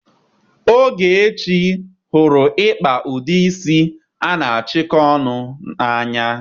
Ogechi hụrụ ịkpa ụdị isi a na-achịkọ ọnụ n'anya.